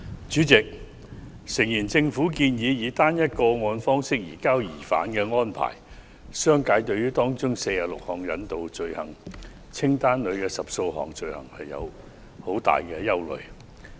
主席，政府建議以"單一個案"方式移交疑犯的安排，商界對於可引渡罪行清單所包含46項罪類中的10多項存有很大的憂慮。